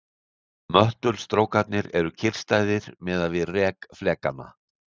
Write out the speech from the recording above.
Möttulstrókarnir eru kyrrstæðir miðað við rek flekanna.